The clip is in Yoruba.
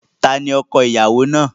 Ta ni ọko-ìyàwó náà?